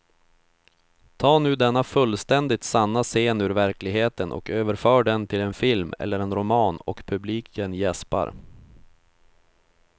Ta nu denna fullständigt sanna scen ur verkligheten och överför den till en film eller en roman och publiken jäspar.